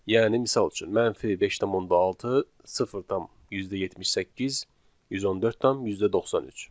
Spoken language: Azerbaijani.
Yəni misal üçün: -5.6, 0.78, 114.93.